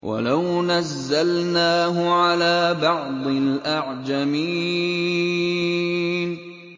وَلَوْ نَزَّلْنَاهُ عَلَىٰ بَعْضِ الْأَعْجَمِينَ